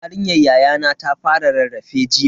Yarinyar yayana ta fara rarrafe jiya.